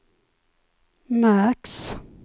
märks